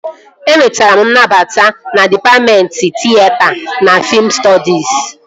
Enwetara m nnabata na dịpatmentị tịyeta na fiim stọdis